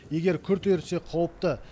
егер күрт ерісе қауіпті